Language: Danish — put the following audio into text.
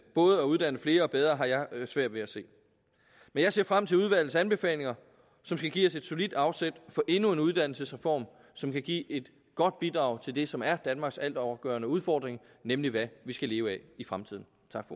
både at uddanne flere og bedre har jeg svært ved at se men jeg ser frem til udvalgets anbefalinger som skal give os et solidt afsæt for endnu en uddannelsesreform som kan give et godt bidrag til det som er danmarks altafgørende udfordring nemlig hvad vi skal leve af i fremtiden